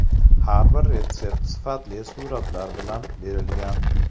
Har bir retsept sifatli suratlar bilan berilgan.